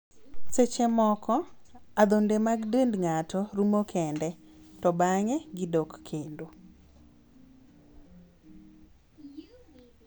Seche moko, adhonde mag dend ng'ato rumo kende (to bang'e gidok kendo).